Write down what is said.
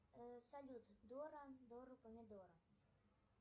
салют дора дора помидора